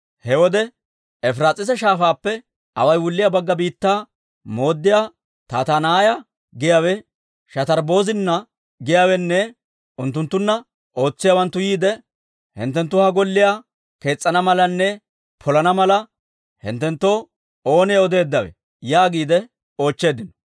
He wode, Efiraas'iisa Shaafaappe away wulliyaa bagga biittaa mooddiyaa Tattanaaya giyaawe, Shatarbbozina giyaawenne unttunttunna ootsiyaawanttu yiide, «Hinttenttu ha Golliyaa kees's'ana malanne polana mala, hinttenttoo oonee odeeddawe?» yaagiide oochcheeddino.